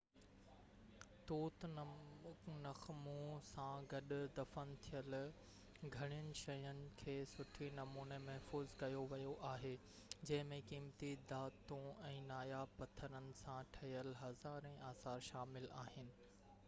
Tutankhamun سان گڏ دفن ٿيل گهڻين شين کي سٺي نموني محفوظ ڪيو ويو آهي جنهن ۾ قيمتي ڌاتون ۽ ناياب پٿرن سان ٺهيل هزارين آثار شامل آهن